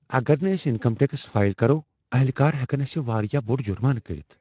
اگر نہٕ أسۍ انکم ٹیکس فائل کرو ، اہلکار ہیکن اسہ واریاہ بوٚڑ جُرمانہٕ كرِتھ ۔